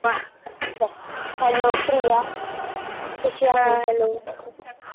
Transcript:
Hello Priya कशी आहे